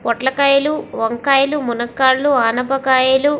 పొట్ల కాయలు వంకాయలు మునగకాయలు అనపకాయలు --